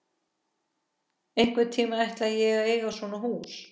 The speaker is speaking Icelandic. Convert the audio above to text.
Einhvern tíma ætla ég að eiga svona hús.